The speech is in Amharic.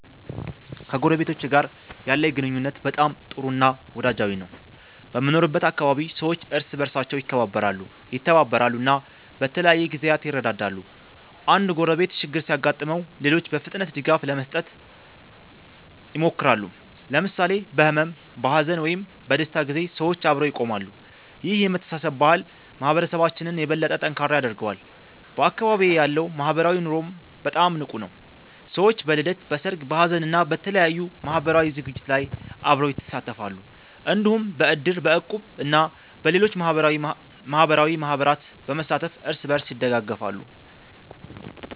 ከጎረቤቶቼ ጋር ያለኝ ግንኙነት በጣም ጥሩ እና ወዳጃዊ ነው። በምኖርበት አካባቢ ሰዎች እርስ በርሳቸው ይከባበራሉ፣ ይተባበራሉ እና በተለያዩ ጊዜያት ይረዳዳሉ። አንድ ጎረቤት ችግር ሲያጋጥመው ሌሎች በፍጥነት ድጋፍ ለመስጠት ይሞክራሉ። ለምሳሌ በሕመም፣ በሐዘን ወይም በደስታ ጊዜ ሰዎች አብረው ይቆማሉ። ይህ የመተሳሰብ ባህል ማህበረሰባችንን የበለጠ ጠንካራ ያደርገዋል። በአካባቢዬ ያለው ማህበራዊ ኑሮም በጣም ንቁ ነው። ሰዎች በልደት፣ በሰርግ፣ በሀዘን እና በተለያዩ ማህበራዊ ዝግጅቶች ላይ አብረው ይሳተፋሉ። እንዲሁም በእድር፣ በእቁብ እና በሌሎች ማህበራዊ ማህበራት በመሳተፍ እርስ በርስ ይደጋገፋሉ።